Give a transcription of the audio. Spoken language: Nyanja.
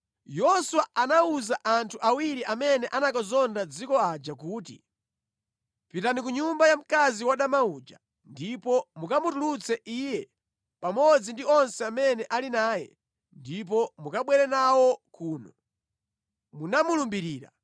Yoswa anawuza anthu awiri amene anakazonda dziko aja kuti, “Pitani ku nyumba ya mkazi wadama uja ndipo mukamutulutse iye pamodzi ndi onse amene ali naye ndipo mukabwere nawo kuno, munamulumbirira.”